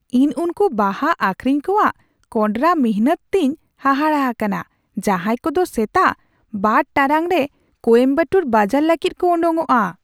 ᱤᱧ ᱩᱱᱠᱩ ᱵᱟᱦᱟ ᱟᱹᱠᱷᱨᱤᱧ ᱠᱚᱣᱟᱜ ᱠᱚᱰᱨᱟ ᱢᱤᱱᱦᱟᱹᱛ ᱛᱮᱧ ᱦᱟᱦᱟᱲᱟ ᱟᱠᱟᱱᱟ ᱡᱟᱦᱟᱭ ᱠᱚᱫᱚ ᱥᱮᱛᱟᱜ ᱒ ᱴᱟᱲᱟᱝ ᱨᱮ ᱠᱳᱭᱟᱢᱵᱮᱫᱩ ᱵᱟᱡᱟᱨ ᱞᱟᱹᱜᱤᱫ ᱠᱚ ᱳᱰᱳᱠᱚᱜᱼᱟ ᱾